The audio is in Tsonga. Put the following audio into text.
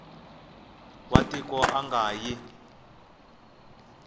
wa tiko a nga yi